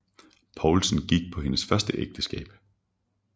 Poulsen gik på hendes første ægteskab